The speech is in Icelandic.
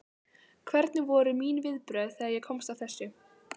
Hvernig voru mín viðbrögð þegar ég komst að þessu?